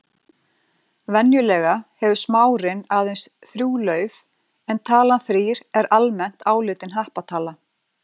Venjulega hefur smárinn aðeins þrjú lauf en talan þrír er almennt álitin happatala.